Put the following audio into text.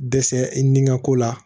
Dɛsɛ i nin ŋa ko la